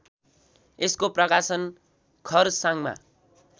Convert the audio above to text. यसको प्रकाशन खरसाङमा